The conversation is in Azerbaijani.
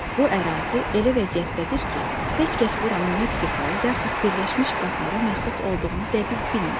Bu ərazi elə vəziyyətdədir ki, heç kəs buranın Meksikaya, yaxud Birləşmiş Ştatlara məxsus olduğunu dəqiq bilmir.